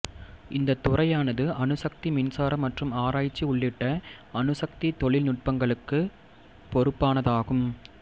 இந்தத் துறையானது அணுசக்தி மின்சாரம் மற்றும் ஆராய்ச்சி உள்ளிட்ட அணுசக்தி தொழில்நுட்பங்களுக்கு பொறுப்பானதாகும்